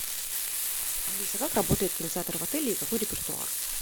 алиса как работает кинотеатр в отеле и какой репертуар